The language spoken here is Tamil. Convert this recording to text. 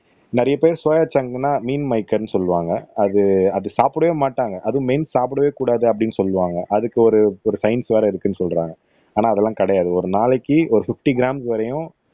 நிறைய பேர் சோயா சாங்ன்னா மீன்மகேர்ன்னு சொல்லுவாங்க அது அது சாப்புடவே மாட்டாங்க அதுவும் மெயின் சாப்புடவே கூடாது அப்படீன்னு சொல்லுவாங்க அதுக்கு ஒரு ஒரு சயின்ஸ் வேற இருக்குன்னு சொல்றாங்க ஆனா அதெல்லாம் கிடையாது ஒரு நாளைக்கு ஒரு பிப்டி க்ராம்ஸ் வரையும்